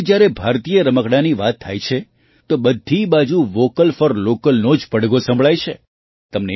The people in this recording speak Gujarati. આજે જ્યારે ભારતીય રમકડાંની વાત થાય છે તો બધી બાજુ વૉકલ ફૉર લૉકલનો જ પડઘો સંભળાય છે